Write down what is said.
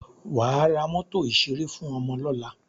Wà á ra mọ́tò ìṣẹré fún ọmọ lọ́la!